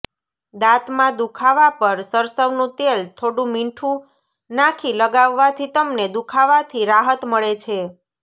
દાંતમાં દુખાવા પર સરસવનું તેલ થોડું મીઠું નાખી લગાવવાથી તમને દુખાવાથી રાહત મળે છે